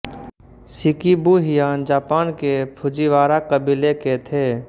Shikibu Heian Japan के Fujiwara कबीले के थे